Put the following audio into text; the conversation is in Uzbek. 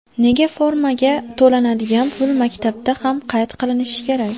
Nega formaga to‘lanadigan pul maktabda ham qayd qilinishi kerak?